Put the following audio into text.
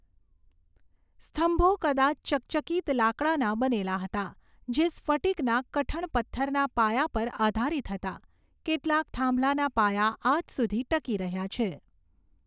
સ્તંભો કદાચ ચકચકિત લાકડાના બનેલા હતા, જે સ્ફટિકના કઠણ પથ્થરના પાયા પર આધારીત હતા. કેટલાક થાંભલાના પાયા આજ સુધી ટકી રહ્યા છે.